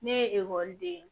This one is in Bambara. Ne ye ekɔliden ye